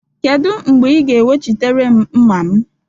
Kedu mgbe ị ga-ewechịtere m mma m?